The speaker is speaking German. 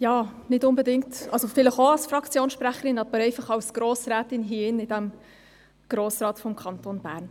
Ja, ich wünsche das Wort, vielleicht auch als Fraktionssprecherin, aber auch einfach als Grossrätin – hier drin, in diesem Grossen Rat des Kantons Bern.